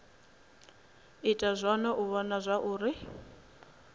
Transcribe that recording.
ita zwone u vhona zwauri